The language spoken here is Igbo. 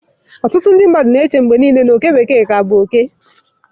Ọtụtụ ndị mmadụ na-eche mgbe niile na oke bekee ka bụ oke.